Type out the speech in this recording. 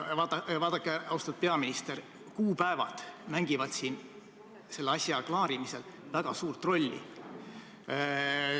Vaadake, austatud peaminister, kuupäevad mängivad siin selle asja klaarimisel väga suurt rolli.